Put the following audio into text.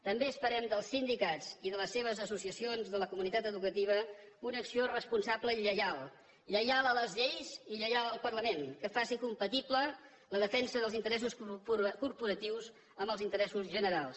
també esperem dels sindicats i de les seves associacions de la comunitat educativa una acció responsable i lleial lleial a les lleis i lleial al parlament que faci compatible la defensa dels interessos corporatius amb els interessos generals